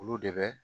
Olu de bɛ